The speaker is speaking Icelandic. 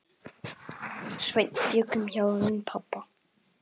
Sveinn bjuggum hjá þeim pabba.